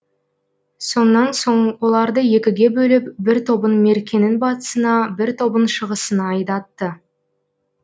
сонан соң оларды екіге бөліп бір тобын меркенің батысына бір тобын шығысына айдатты